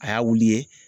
A y'a wuli ye